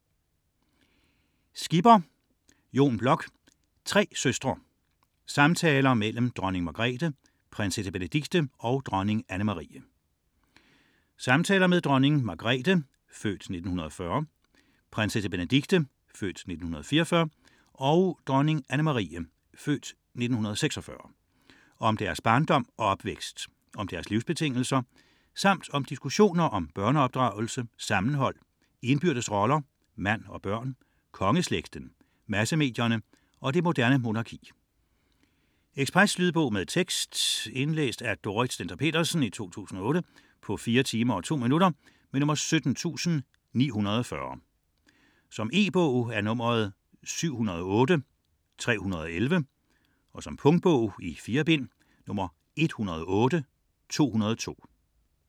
99.4 Margrethe: dronning af Danmark Skipper, Jon Bloch: Tre søstre: samtaler mellem dronning Margrethe, prinsesse Benedikte og dronning Anne-Marie Samtaler med dronning Margrethe (f. 1940), prinsesse Benedikte (f. 1944) og dronning Anne-Marie (f. 1946) om deres barndom og opvækst, om deres livsbetingelser, samt med diskussioner om børneopdragelse, sammenhold, indbyrdes roller, mand og børn, kongeslægten, massemedierne og det moderne monarki. Lydbog med tekst 17940 Indlæst af Dorrit Stender-Petersen, 2008. Spilletid: 4 timer, 2 minutter. Ekspresbog E-bog 708311 2008. Punktbog 108202 2008. 4 bind.